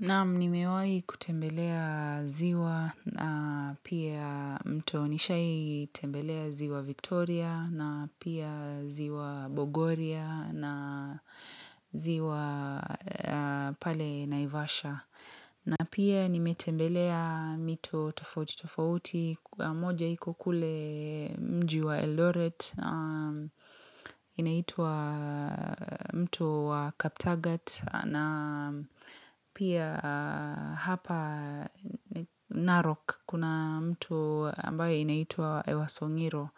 Naam nimewai kutembelea ziwa na pia mto nishai tembelea ziwa Victoria na pia ziwa Bogoria na ziwa pale Naivasha. Na pia nimetembelea mito tofauti tofauti, moja iko kule mji wa Eldoret, inaitwa mto wa Kaptagat, na pia hapa Narok, kuna mtu ambayo inaitwa Ewasongiro,